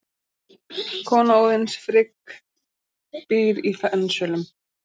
Kona Óðins, Frigg, býr í Fensölum.